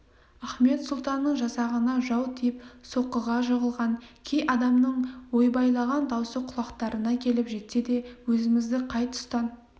ахмет сұлтанның жасағына жау тиіп соққыға жығылған кей адамның ойбайлаған даусы құлақтарына келіп жетсе де өзімізді қай тұстан